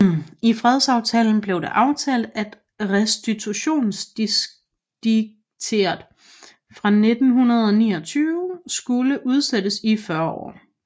I fredsaftalen blev det aftalt at Restitutionsediktet fra 1629 skulle udsættes i 40 år